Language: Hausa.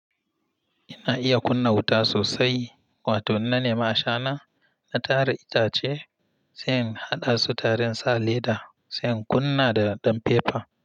Ina iya kunna wuta sosai, wato ina nema ashana, na tara itace, sai in haɗa su tare in sa leda, sai in kunna da ɗan fefa.